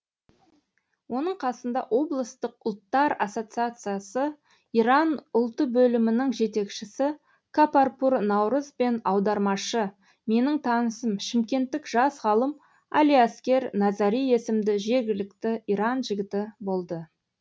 оның қасында облыстық ұлттар ассоциациясы иран ұлты бөлімінің жетекшісі капарпур наурыз бен аудармашы менің танысым шымкенттік жас ғалым алиаскер назари есімді жергілікті иран жігіті болды